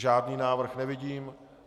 Žádný návrh nevidím.